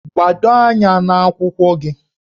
Gbado anya n'akwụkwọ gị!